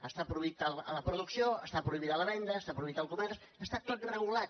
està prohibida la producció està prohibida la venda està prohibit el comerç està tot regulat